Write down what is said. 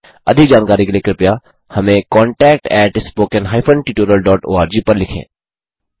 अधिक जानकारी के लिए कृपया हमें contactspoken हाइफेन tutorialओआरजी पर लिखें